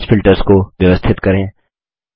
message filters को व्यवस्थित करें